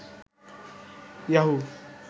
Yahoo